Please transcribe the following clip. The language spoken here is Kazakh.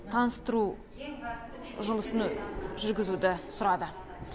таныстыру жұмысын жүргізуді сұрады